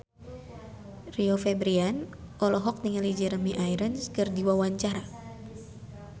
Rio Febrian olohok ningali Jeremy Irons keur diwawancara